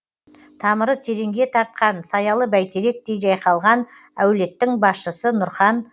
тамыры тереңге тартқан саялы бәйтеректей жайқалған әулеттің басшысы нұрхан